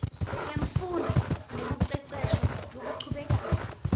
wemfundvo nekucecesha lokuchubekako